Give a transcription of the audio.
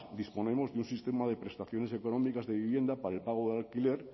disponemos de un sistema de prestaciones económicas de vivienda para el pago del alquiler